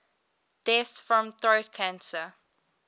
deaths from throat cancer